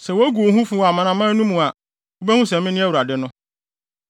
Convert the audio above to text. Sɛ wogu wo ho fi wɔ amanaman no mu a, wubehu sɛ mene Awurade no.’ ”